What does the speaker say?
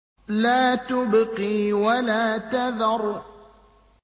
لَا تُبْقِي وَلَا تَذَرُ